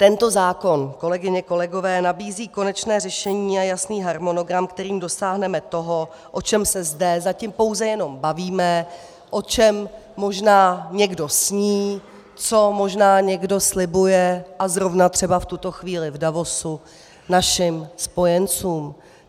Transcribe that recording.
Tento zákon, kolegyně, kolegové, nabízí konečně řešení a jasný harmonogram, kterým dosáhneme toho, o čem se zde zatím pouze jenom bavíme, o čem možná někdo sní, co možná někdo slibuje, a zrovna třeba v tuto chvíli v Davosu našim spojencům.